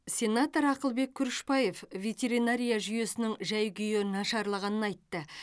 сенатор ақылбек күрішбаев ветеринария жүйесінің жай күйі нашарлағанын айтты